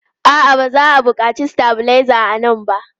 A'a, ba za a buƙaci stabilizer a nan ba.